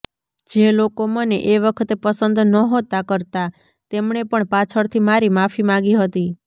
જે લોકો મને એ વખતે પસંદ નહોતા કરતાં તેમણે પણ પાછળથી મારી માફી માગી હતી